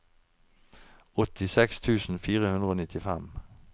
åttiseks tusen fire hundre og nittifem